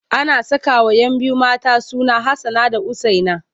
Ana sakawa 'yan biyu mata suna Hassana da Usaina.